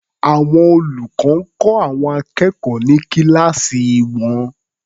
Àwọn olùkọ́ ń kọ́ àwọn akẹ́kọ̀ọ́ ní kíláàsì wọn.